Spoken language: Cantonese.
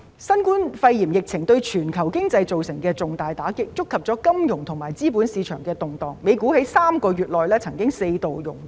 新冠肺炎疫情對全球經濟造成重大打擊，觸發了金融及資本市場的動盪，美股亦曾在3個月內四度熔斷。